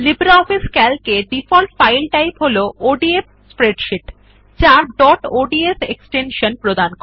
LibreOffice Calc মধ্যে default file type হল ODF spreadsheet যা ডট অডস এক্সটেনশান দেয়